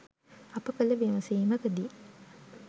අප කළ විමසීමකදී